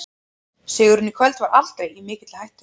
Sigurinn í kvöld var aldrei í mikilli hættu.